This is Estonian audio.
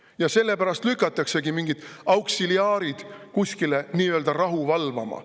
Ja sellepärast lükatakse mingid auksiliaarid kuskile nii-öelda rahu valvama.